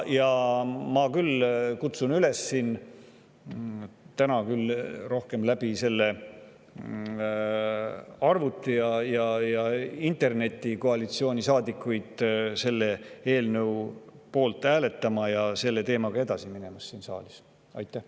Ma kutsun küll koalitsioonisaadikuid siin ja täna üles, küll rohkem arvuti ja interneti kaudu, selle eelnõu poolt hääletama ja selle teemaga siin saalis edasi minema.